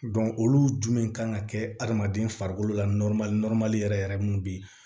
olu jumɛn kan ka kɛ adamaden farikolo la yɛrɛ yɛrɛ mun be yen